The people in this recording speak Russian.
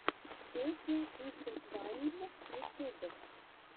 песня иссы тваймз ютьюб